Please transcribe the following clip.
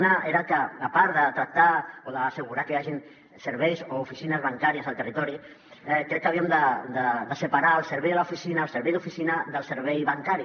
una era que a part de tractar o d’assegurar que hi hagin serveis o oficines bancàries al territori crec que havíem de separar el servei d’oficina del servei bancari